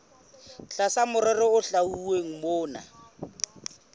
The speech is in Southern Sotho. tlasa merero e hlwauweng mona